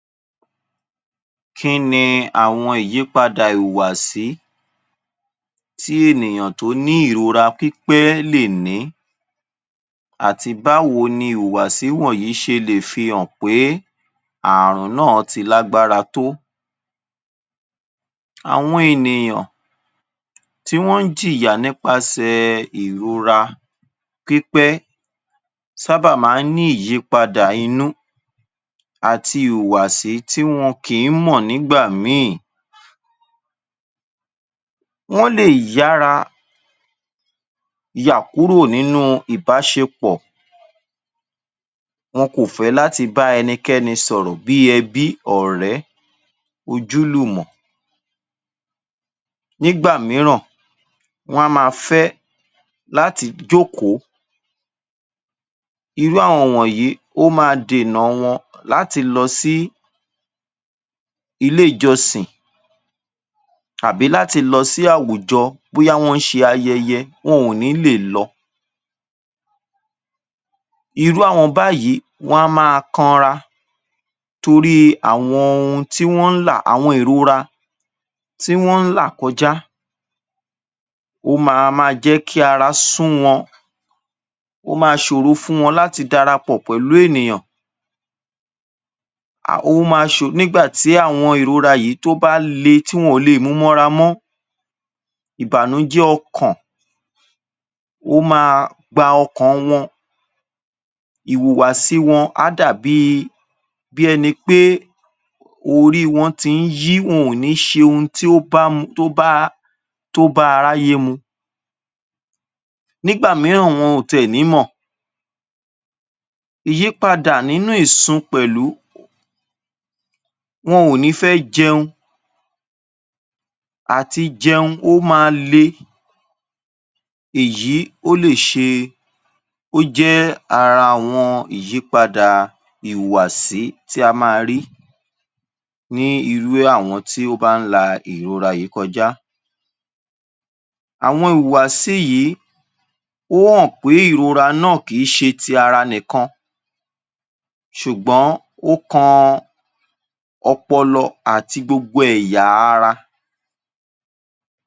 Kí ni àwọn ìyípadà ìwàásí tí ènìyàn tó ní ìrora pípẹ́ lè ní àti báwo ni ìwàásí wọ̀nyí ṣe lè fi hàn pé ààrùn náà ti lágbára tó? Àwọn ènìyàn tí wọ́n jìyà nípasẹ̀ ìrora pípẹ́ sábàá máa ń ní ìyípadà inú àti ìwàásí tí wọn kìí mọ̀ nígbà míì. Wọn le yára, yà kúrò nínú ìbáṣepọ̀. Wọn kò fẹ́ láti bá ẹnikẹ́ni sọ̀rọ̀ bí ẹbí ọ̀rẹ́ ojúlùmọ̀. Nígbà mìíràn, wọn a máa fẹ láti jókòó. Iru àwọn wọ̀nyí ó máa dènà wọn láti lọ sí ilé ìjọsìn àbí láti lọ sí àwùjọ bóyá wọn ń ṣe ayẹyẹ wọn ò ní lè lọ. Iru àwọn báyìí wọn a máa kán ra torí àwọn ohun tí wọn n là àwọn ìrora tí wọn n là kọjá. Ó ma máa jẹ́ kí ara sun wọn, ó ma ṣòro fún wọn láti darapọ̀ pẹ̀lú ènìyàn. Ò ma ṣòro-- nígbà tí àwọn ìrora yìí tó bá le tí wọn ó lè múwọ́nra mọ́, ìbànújé ọkàn ó máa gba ọkàn wọn. Ìwùwàsì wọn a dàbí bí ẹni pé orí wọn ti ń yí wọn ò ní ṣe ohun tí ó bá mu-- tó bá-- tó bá aráyé mu. Nígbà mìíràn wọn ò tè ní mọ. Ìyípadà nínú ìsun pẹ̀lú wọn ò nífẹ́ jẹun àti jẹun ó máa lé. Èyí ó lé ṣe-- ó jẹ́ ara wọn ìyípadà ìwàásí tí a máa rí ní irú àwọn tí ó bá n la ìrora yìí kọjá. Àwọn ìwàásí yìí ó hàn pé ìrora náà kìí ṣe ti ara nìkan, ṣùgbọ́n ó kan ọpọlọ àti gbogbo èyà ara.